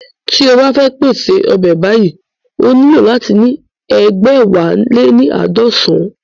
Tí o bá fẹ́ pèṣè ọbẹ̀ báyìí ó nílò láti ní egbẹ̀wáléníaadọsan